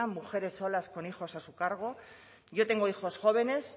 mujeres solas con hijos a su cargo yo tengo hijos jóvenes